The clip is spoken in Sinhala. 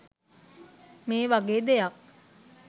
මේ වගේ දෙයක්